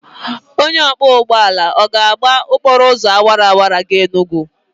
Onye ọkwọ ụgbọala ọ ga-agba okporo ụzọ awara awara gaa Enugwu?